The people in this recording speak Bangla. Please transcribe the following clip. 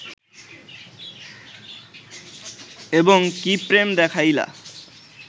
এবং কি প্রেম দেখাইলা